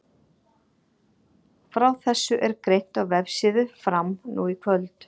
Frá þessu er greint á vefsíðu Fram nú í kvöld.